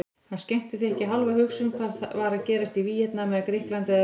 Hann skenkti því ekki hálfa hugsun hvað var að gerast í Víetnam eða Grikklandi eða